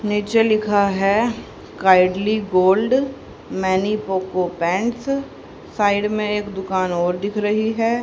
नीचे लिखा है कायडली गोल्ड मैनी पोको पैंट्स साइड में एक दुकान और दिख रही है।